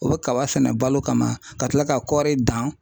U bi kaba fɛnɛ balo kama ka kila ka kɔri dan